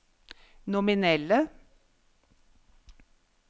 nominelle